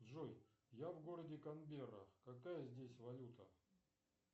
джой я в городе канберра какая здесь валюта